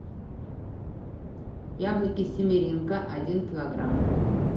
яблоки семеренко один килограмм